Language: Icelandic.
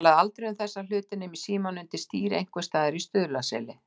Hann talaði aldrei um þessa hluti nema í símann undir stýri einhvers staðar í Stuðlaseli.